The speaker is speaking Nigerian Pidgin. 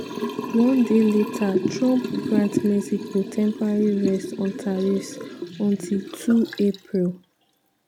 one day later trump grant mexico temporary rest on tariffs - until 2 april.